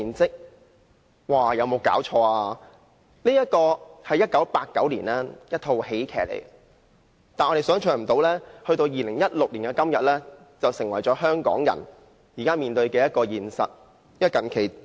這套1989年的喜劇電影，想不到到2016年的今天，竟成為香港人現時面對的現實。